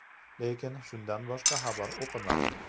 Lekin, shundan boshqa xabar o‘qimadim.